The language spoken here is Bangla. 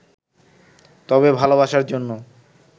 তবে ভালোবাসার জন্য